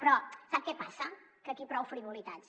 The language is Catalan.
però sap què passa que aquí prou frivolitats